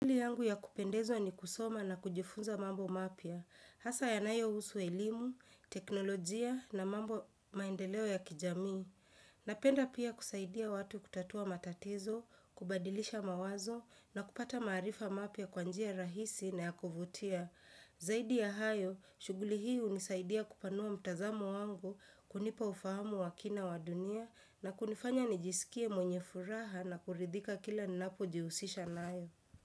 Shughuli yangu ya kupendeza ni kusoma na kujifunza mambo mapya Hasa ya nayo husu elimu, teknolojia na mambo maendeleo ya kijamii. Napenda pia kusaidia watu kutatua matatizo, kubadilisha mawazo na kupata maarifa mapya kwanjia rahisi na ya kuvutia. Zaidi ya hayo, shughuli hii hunisaidia kupanua mtazamo wangu kunipa ufahamu wakina wa dunia na kunifanya nijisikie mwenye furaha na kuridhika kila ninapo jihusisha nayo.